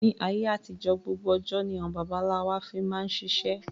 Ni ayé àtijọ́ gbogbo ọjọ́ ni àwọn baba ńlá wa fi máa ṣiṣẹ́